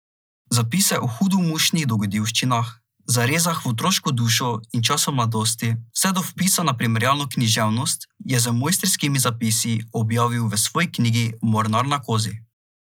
Zapise o hudomušnih dogodivščinah, zarezah v otroško dušo in času mladosti vse do vpisa na primerjalno književnost, je z mojstrskimi zapisi objavil v svoji novi knjigi Mornar na Kozi.